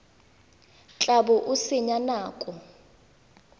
tla bo o senya nako